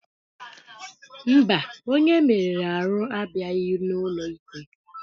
Mba, onye e merụrụ ahụ abịaghị n'ụlọ ikpe.